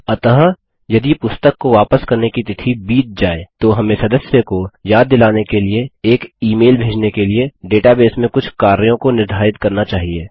अतः यदि पुस्तक को वापस करने की तिथि बीत जाये तो हमें सदस्य को याद दिलाने के लिए एक ई मेल भेजने के लिए डेटाबेस में कुछ कार्यों को निर्धारित करना चाहिये